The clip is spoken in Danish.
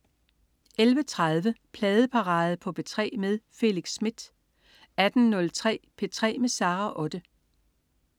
11.30 Pladeparade på P3 med Felix Smith 18.03 P3 med Sara Otte